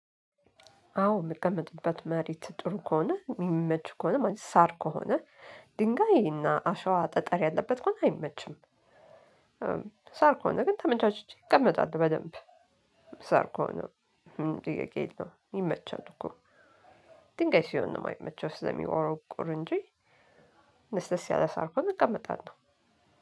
አዎ የምቀመጥበት መሬት ጥሩ ከሆነ፣ የሚመቹ ከሆነ ማለት ሳር ከሆነ፣ ድንጋይ እና አሸዋ ጠጠር ያለበት ከሆነ አይመችም። ሳር ከሆነ ግን ተመቻችቼ እቀመጣለሁ በደንብ። ሳር ከሆነ ጥያቄ የለውም ይመቻል እኮ። ድንጋይ ሲሆን ነው የማይመቸው ስለሚቆረቁር እንጂ ለስለስ ያለ ሳር ከሆነ እቀመጣለሁ።